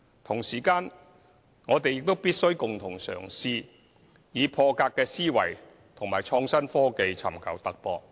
同時間，我們必須共同嘗試，以破格思維和創新科技尋求突破。